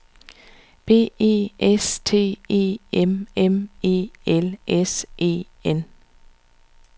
B E S T E M M E L S E N